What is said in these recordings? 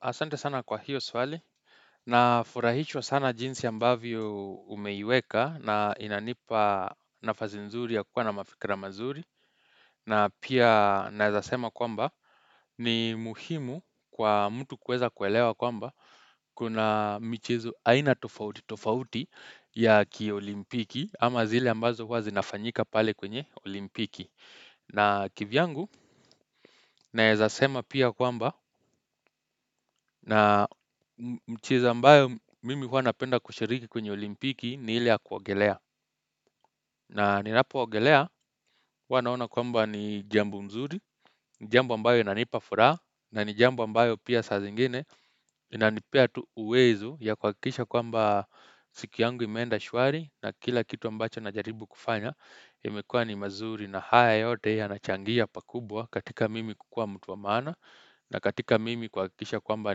Asante sana kwa hiyo swali na furahishwa sana jinsi ambavyo umeiweka na inanipa nafasi nzuri ya kuwa na mafikra mazuri na pia naezasema kwamba ni muhimu kwa mtu kuweza kuelewa kwamba kuna michezo aina tofauti tofauti ya ki olimpiki ama zile ambazo huwa zinafanyika pale kwenye olimpiki. Na kivyangu, naezasema pia kwamba, na mchezo mbayo mimi huwa napenda kushiriki kwenye olimpiki ni ile ya kuogelea. Na ninapo ogelea, wanaona kwamba ni jambo mzuri, jambo mbayo inanipafuraha, na ni jambo mbayo pia saa zingine inanipea tu uwezo ya kwakisha kwamba siku yangu imenda shwari na kila kitu ambacho na jaribu kufanya, imekua ni mazuri na haya yote yana changia pakubwa katika mimi kukua mtu wamana na katika mimi kwa kisha kwamba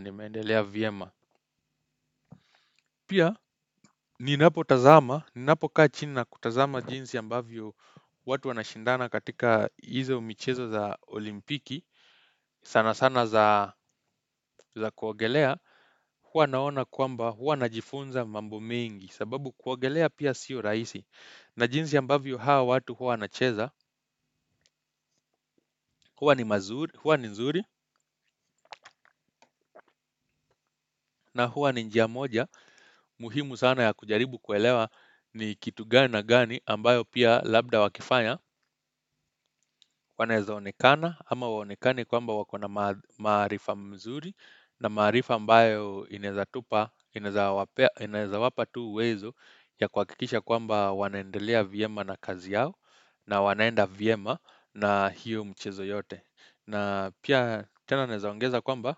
nimendelea vyema Pia ni napo tazama, ni napo kaa chini kutazama jinsi ambavyo watu wana shindana katika hizo michezo za olimpiki sana sana za kuogelea, huwa naona kwamba huwa najifunza mambo mengi sababu kuogelea pia siyo rahisi na jinsi ambavyo hawa watu huwa na cheza huwa ni nzuri na huwa ni njia moja muhimu sana ya kujaribu kuelewa ni kitu gani na gani ambayo pia labda wakifanya waneza onekana ama hawa onekani kwamba wakona maarifa mzuri na maarifa mbayo inaezatupa inaezawapa tu uwezo ya kwa kikisha kwamba wanaendelea vyema na kazi yao na wanaenda vyema na hiyo mchezo yote na pia tena naeza ongeza kwamba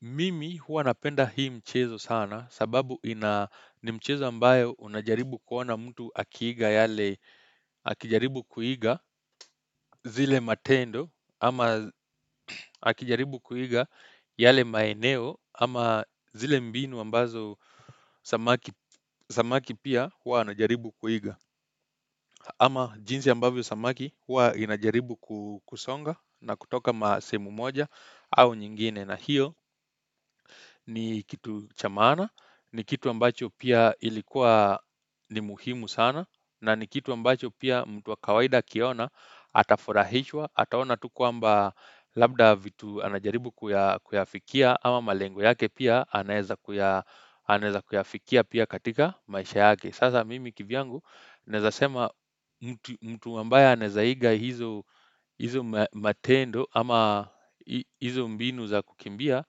Mimi huwa napenda hii mchezo sana sababu ni mchezo ambayo unajaribu kuona mtu akijaribu kuiga zile matendo ama akijaribu kuiga yale maeneo ama zile mbinu ambazo samaki pia huwa anajaribu kuiga ama jinsi ambavyo samaki huwa inajaribu kusonga na kutoka masehemu moja au nyingine na hiyo ni kitu cha maana, ni kitu ambacho pia ilikuwa ni muhimu sana na ni kitu ambacho pia mtu wa kawaida kiona atafurahishwa, ataona tu kwamba labda vitu anajaribu kuyafikia ama malengo yake pia anaeza kuyafikia pia katika maisha yake. Sasa mimi kivyangu naeza sema mtu ambaye anaezaiga hizo matendo ama hizo mbinu za kukimbia,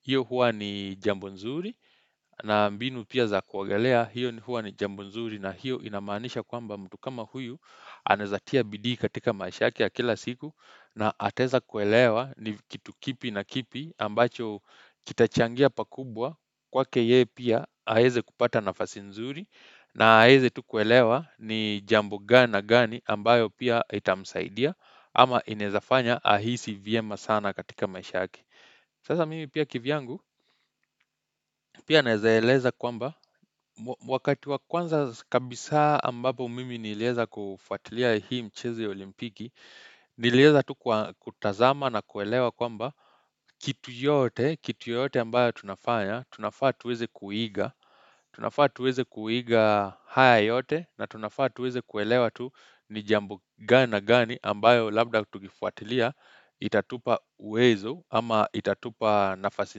hiyo huwa ni jambo nzuri na mbinu pia za kuogelea hiyo huwa ni jambo nzuri na hiyo ina maanisha kwamba mtu kama huyu anaezatia bidii katika maisha yake ya kila siku na ataeza kuelewa ni kitu kipi na kipi ambacho kitachangia pakubwa kwake yeye pia haeze kupata nafasi nzuri na haeze tukuelewa ni jambo gani na gani ambayo pia itamsaidia ama inaezafanya ahisi vyema sana katika maisha yake. Sasa mimi pia kivyangu, pia naeza eleza kwamba, wakati wa kwanza kabisa ambapo mimi nilieza kufuatilia hii mchezo ya olimpiki, nilieza tu kutazama na kuelewa kwamba kitu yote, kitu yote ambayo tunafanya, tunafaa tuweze kuiga, tunafaa tuweze kuiga haya yote, na tunafaa tuweze kuelewa tu ni jambo gani na gani ambayo labda kutukifuatilia, itatupa uwezo, ama itatupa nafasi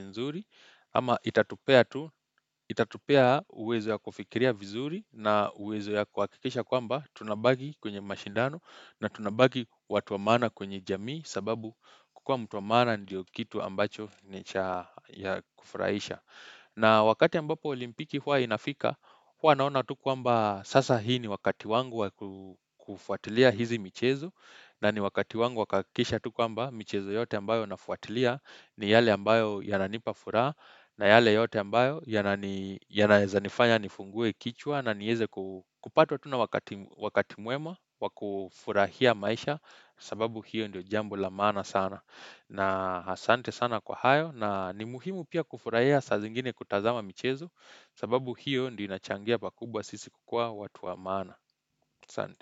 nzuri, ama itatupea tu, itatupea uwezo ya kufikiria vizuri na uwezo ya kwa kikisha kwamba tunabaki kwenye mashindano na tunabaki watu wa maana kwenye jamii sababu kukua mtu wa maana ndiyo kitu ambacho ni cha ya kufuraisha. Na wakati ambapo olimpiki hua inafika, hua naona tuku amba sasa hii ni wakati wangu wakufuatilia hizi michezo na ni wakati wangu wa kuhakisha tuku amba michezo yote ambayo nafuatilia ni yale ambayo yananipa furaha na yale yote ambayo yanaeza nifanya nifungue kichwa na nieze kupata wakati mwema wakufurahia maisha sababu hiyo ndio jambo lamaana sana. Na asante sana kwa hayo na ni muhimu pia kufurahia saa zingine kutazama michezo sababu hiyo ndio inachangia pakubwa sisi kukua watu amana. Asante.